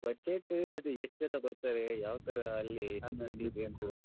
Budget ಅದೇ ಯೆಸ್ಟ್ ಜನ ಬರ್ತಾರೆ ಯಾವ್ತರ ಅಲ್ಲಿ .